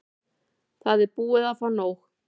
Það er búið að fá nóg.